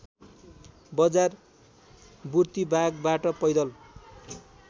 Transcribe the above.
बजार बुर्तिवागबाट पैदल